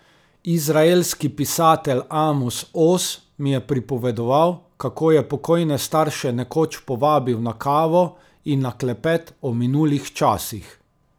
Izraelski pisatelj Amos Oz mi je pripovedoval, kako je pokojne starše nekoč povabil na kavo in na klepet o minulih časih ...